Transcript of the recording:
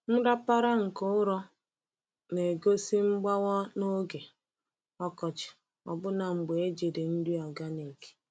Nrapara nke ụrọ na-egosi mgbawa n’oge ọkọchị ọbụna mgbe ejiri nri organic.